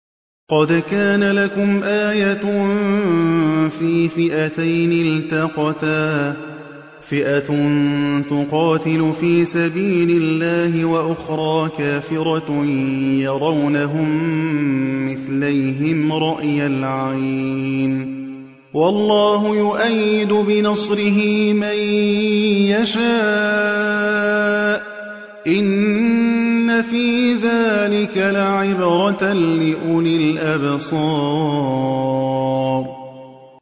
قَدْ كَانَ لَكُمْ آيَةٌ فِي فِئَتَيْنِ الْتَقَتَا ۖ فِئَةٌ تُقَاتِلُ فِي سَبِيلِ اللَّهِ وَأُخْرَىٰ كَافِرَةٌ يَرَوْنَهُم مِّثْلَيْهِمْ رَأْيَ الْعَيْنِ ۚ وَاللَّهُ يُؤَيِّدُ بِنَصْرِهِ مَن يَشَاءُ ۗ إِنَّ فِي ذَٰلِكَ لَعِبْرَةً لِّأُولِي الْأَبْصَارِ